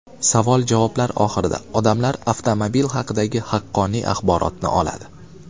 Savol-javoblar oxirida odamlar avtomobil haqidagi haqqoniy axborotni oladi.